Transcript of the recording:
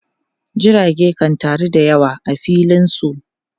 Jirage kan taru da yawa a filin su.